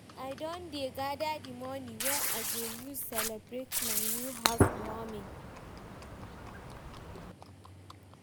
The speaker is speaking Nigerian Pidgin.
I don dey gather the money wey I go use celebrate my new house warming